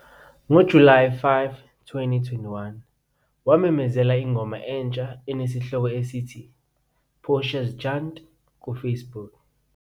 NgoJulayi 5, 2021, wamemezela ingoma entsha enesihloko esithi "Portia's Chant" ku-Facebook.